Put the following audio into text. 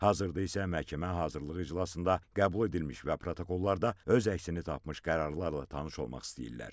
Hazırda isə məhkəmə hazırlıq iclasında qəbul edilmiş və protokollarda öz əksini tapmış qərarlarla tanış olmaq istəyirlər.